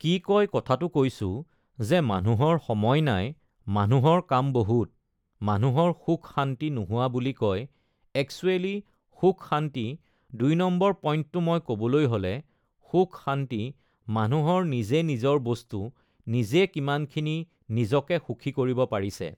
কি কয় কথাটো কৈছোঁ যে মানুহৰ সময় নাই, মানুহৰ কাম বহুত, মানুহৰ সুখ-শান্তি নোহোৱা বুলি কয়, এক্সোৱেলি সুখ-শান্তি, দুই নম্বৰ পইণ্টটো মই ক'বলৈ হ'লে, সুখ-শান্তি মানুহৰ নিজে নিজৰ বস্তু, নিজে কিমানখিনি নিজকে সুখী কৰিব পাৰিছে